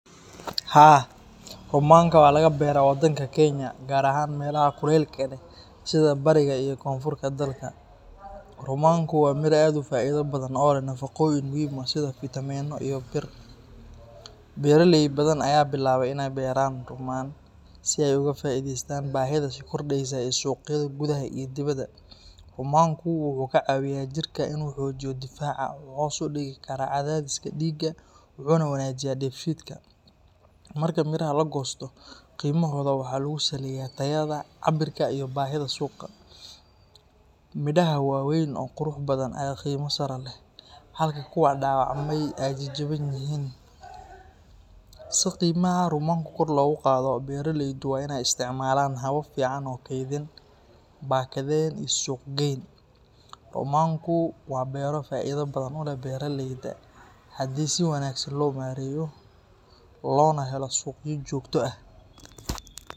Haa, rumanka waa laga beeraa wadanka Kenya, gaar ahaan meelaha kuleylka leh sida bariga iyo koonfurta dalka. Rumanku waa miro aad u faa’iido badan oo leh nafaqooyin muhiim ah sida fitamiinno, iyo bir. Beeraley badan ayaa bilaabay inay beeraan rummaan si ay uga faa’iidaystaan baahida sii kordheysa ee suuqyada gudaha iyo dibadda. Rumanku wuxuu ka caawiyaa jirka inuu xoojiyo difaaca, wuxuu hoos u dhigi karaa cadaadiska dhiigga, wuxuuna wanaajiyaa dheefshiidka. Marka midhaha la goosto, qiimahooda waxa lagu saleeyaa tayada, cabbirka iyo baahida suuqa. Midhaha waaweyn oo qurux badan ayaa qiimo sare leh, halka kuwa dhaawacmay ay jaban yihiin. Si qiimaha rumanka kor loogu qaado, beeraleydu waa inay isticmaalaan habab fiican oo kaydin, baakadeyn iyo suuq-geyn. Rumanku waa beero faa’iido badan u leh beeraleyda haddii si wanaagsan loo maareeyo, loona helo suuqyo joogto ah.